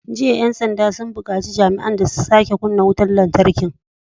Jiya 'yan sanda sun bukaci jami'an da su sake kunna wutar lantarki!"